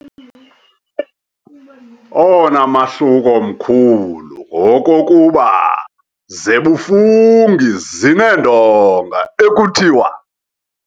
Owona mahluko mkhulu ngowokokuba ] zebuFungi zineendonga ekuthiwa ].